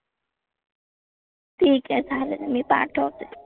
ठीक आहे चालेल मी पाठवते.